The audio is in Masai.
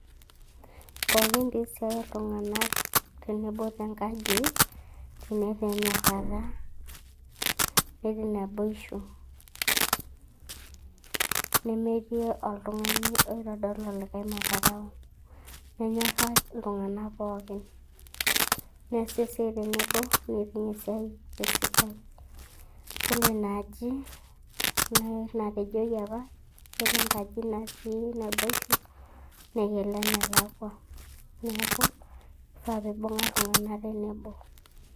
Pooki piisiai iltung'anak tenebo tenkaji tenetii enyorrara, netii naboishu nemetii oltung'ani oitodol olikae madharau, nenyorra iltung'anak pookin, neesi esiai tenebo neiting' esiai te esidai. Yiolo ina aji neeku enatejoji apa yiolo enkaji natii naboishu naa ekelo enelakua, neeku kifaa piibung'a iltung'anak tenebo.